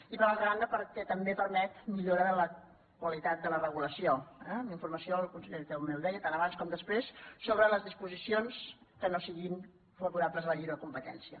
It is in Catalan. i per altra banda perquè també permet millora de la qualitat de la regulació eh amb la informació el con·seller també ho deia tant abans com després sobre les disposicions que no siguin favorables a la lliure com·petència